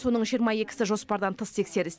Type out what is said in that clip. соның жиырма екісі жоспардан тыс тексеріс